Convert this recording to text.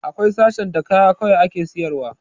Akwai sashen da kaya kawai ake sayar wa